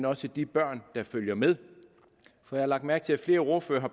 også de børn der følger med jeg har lagt mærke til at flere ordførere